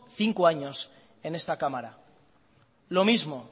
cinco años en esta cámara lo mismo